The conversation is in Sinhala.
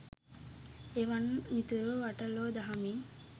එවන් මිතුරෝ අට ලෝ දහමින්